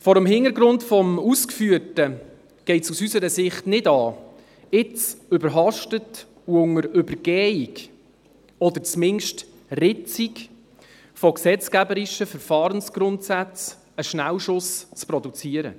Vor dem Hintergrund des Ausgeführten geht es aus unserer Sicht nicht an, jetzt überhastet und unter Übergehung oder zumindest Ritzung von gesetzgeberischen Verfahrensgrundsätzen einen Schnellschuss zu produzieren.